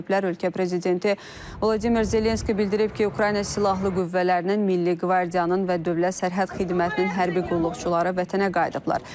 Ölkə prezidenti Vladimir Zelenski bildirib ki, Ukrayna silahlı qüvvələrinin, Milli Qvardiyanın və Dövlət Sərhəd Xidmətinin hərbi qulluqçuları vətənə qayıdıblar.